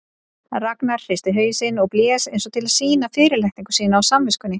Ragnar hristi hausinn og blés eins og til að sýna fyrirlitningu sína á samviskunni.